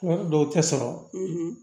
Wari dɔw tɛ sɔrɔ